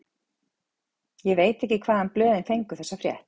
Ég veit ekki hvaðan blöðin fengu þessa frétt.